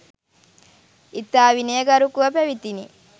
ඉතා විනයගරුකව පැවැතිණි.